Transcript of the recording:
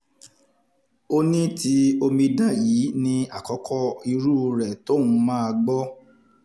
ó ní ti omidan yìí ní àkọ́kọ́ irú rẹ̀ tóun máa gbọ́